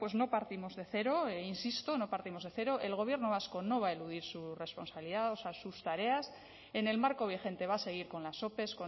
bueno pues no partimos de cero insisto no partimos de cero el gobierno vasco no va a eludir su responsabilidad sus tareas en el marco vigente va a seguir con las ope